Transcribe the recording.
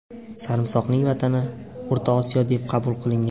Sarimsoqning vatani O‘rta Osiyo deb qabul qilingan.